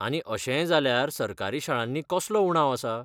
आनी अशेंय जाल्यार सरकारी शाळांनी कसलो उणाव आसा?